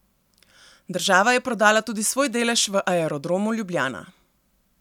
Država je prodala tudi svoj delež v Aerodromu Ljubljana.